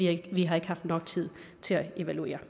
ikke haft nok tid til at evaluere